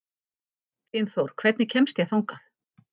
Dynþór, hvernig kemst ég þangað?